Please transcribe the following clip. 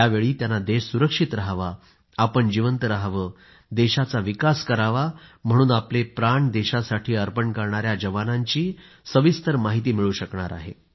त्यावेळी त्यांना देश सुरक्षित रहावा आपण जीवंत रहावे देशाचा विकास करावा म्हणून आपले प्राण देशासाठी अर्पण करणाया जवानांची माहिती मिळू शकणार आहे